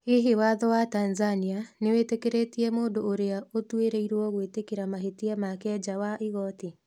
Hihi watho wa Tanzania nĩ wĩtĩkĩrĩtie mũndũ ũrĩa ũtuĩrĩirwo gwĩtĩkĩra mahĩtia make nja wa igooti?